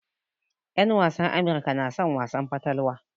En wasan Amirka na son wasan fatalwa.